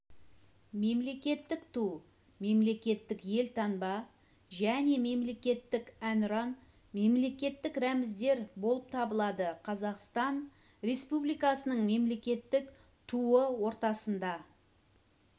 мемлекеттік ту мемлекеттік елтаңба және мемлекеттік әнұран мемлекеттік рәміздер болып табылады қазақстан республикасының мемлекеттік туыортасында